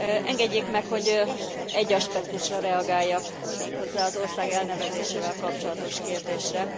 Engedjék meg, hogy egy aspektusra reagáljak, méghozzá az ország elnevezésével kapcsolatos kérdésre.